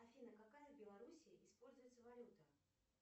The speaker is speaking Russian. афина какая в белоруссии используется валюта